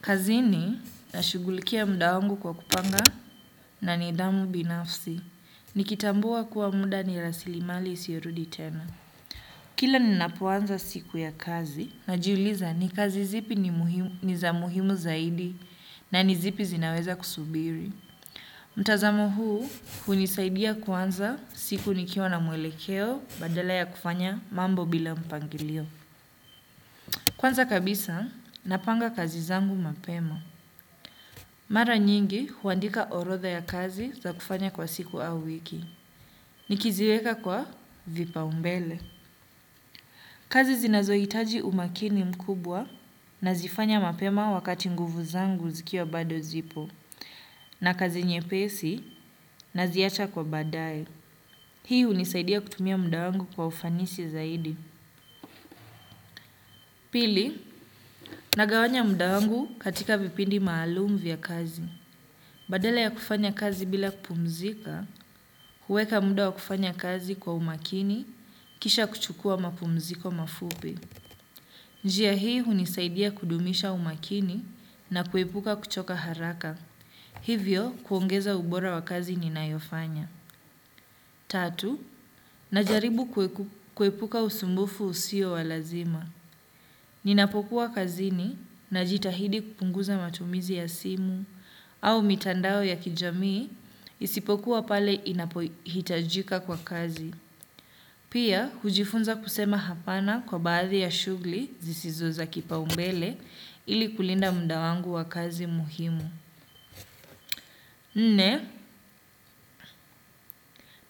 Kazini na shugulikia muda wangu kwa kupanga na nidhamu binafsi. Nikitambua kuwa muda ni rasili mali isiorudi tena. Kila ninapoanza siku ya kazi najiuliza ni kazi zipi niza muhimu zaidi na nizipi zinaweza kusubiri. Mutazamo huu hunisaidia kuanza siku nikiwa na mwelekeo badala ya kufanya mambo bila mpangilio. Kwanza kabisa napanga kazi zangu mapema. Mara nyingi huandika orodha ya kazi za kufanya kwa siku au wiki nikiziweka kwa vipa umbele kazi zinazohitaji umakini mkubwa nazifanya mapema wakati nguvu zangu zikiwa bado zipo. Na kazi nyepesi naziacha kwa baadae. Hii hunisaidia kutumia muda wangu kwa ufanisi zaidi. Pili, nagawanya muda wangu katika vipindi maalumu vya kazi. Badala ya kufanya kazi bila kupumzika, huweka muda wa kufanya kazi kwa umakini kisha kuchukua mapumziko mafupi. Njia hii hunisaidia kudumisha umakini na kuepuka kuchoka haraka. Hivyo, huongeza ubora wa kazi ninayofanya. Tatu, najaribu kuepuka usumbufu usio wa lazima. Ninapokuwa kazini najitahidi kupunguza matumizi ya simu au mitandao ya kijamii isipokuwa pale inapohitajika kwa kazi. Pia, hujifunza kusema hapana kwa baadhi ya shugli zisizo za kipa umbele ili kulinda muda wangu wa kazi muhimu. Nne,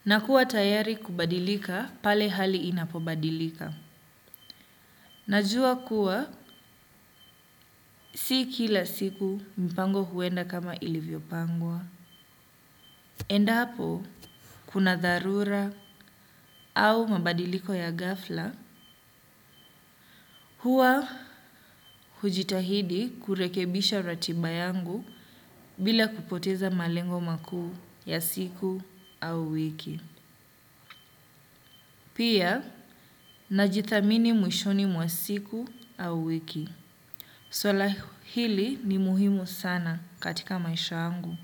nakuwa tayari kubadilika pale hali inapobadilika. Najua kuwa si kila siku mpango huenda kama ilivyopangwa. Endapo kuna dharura au mabadiliko ya gafla huwa hujitahidi kurekebisha ratiba yangu bila kupoteza malengo makuu ya siku au wiki. Pia najithamini mwishoni mwa siku au wiki. Swala hili ni muhimu sana katika maisha yangu.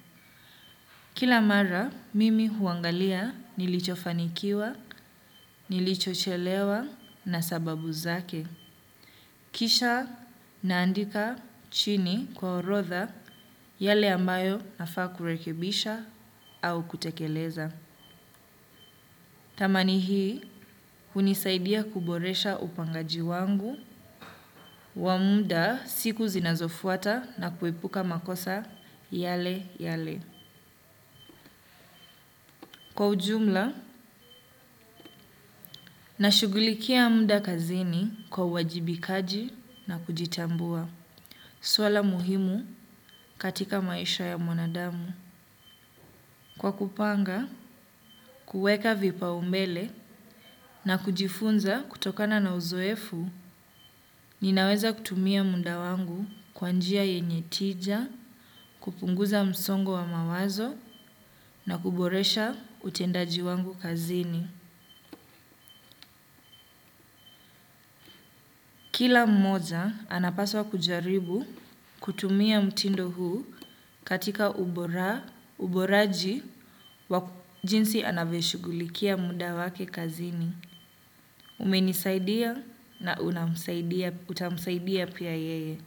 Kila mara, mimi huangalia nilichofanikiwa, nilicho chelewa na sababu zake. Kisha naandika chini kwa orodha yale ambayo nafaa kurekebisha au kutekeleza. Thamani hii, hunisaidia kuboresha upangaji wangu wa muda siku zinazofuata na kuipuka makosa yale yale. Kwa ujumla, nashugulikia muda kazini kwa uwajibikaji na kujitambua. Swala muhimu katika maisha ya mwanadamu. Kwa kupanga, kuweka vipa umbele na kujifunza kutokana na uzoefu, ninaweza kutumia muda wangu kwa njia yenye tija, kupunguza msongo wa mawazo na kuboresha utendaji wangu kazini. Kila mmoja anapaswa kujaribu kutumia mtindo huu katika uboraji wa jinsi anavyoshugulikia muda wake kazini. Umenisaidia na utamsaidia pia yeye.